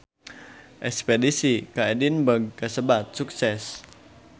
Espedisi ka Edinburg kasebat sukses